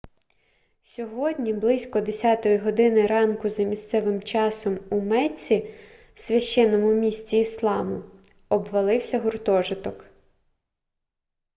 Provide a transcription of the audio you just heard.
сьогодні близько 10 години ранку за місцевим часом у мецці священному місті ісламу обвалився гуртожиток